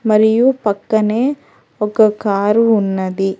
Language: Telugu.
మరియు పక్కనే ఒక కారు ఉన్నది.